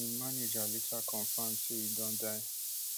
im manager later confam say e don die